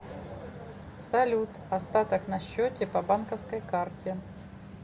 салют остаток на счете по банковской карте